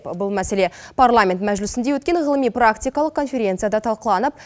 бұл мәселе парламент мәжілісінде өткен ғылыми практикалық конференцияда талқыланып